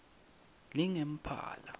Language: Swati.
lingemphala